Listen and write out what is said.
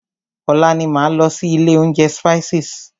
Ọ̀la ni máa lọ sí ilé oúnjẹ Spices.